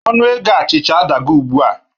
Achịcha adago ugbua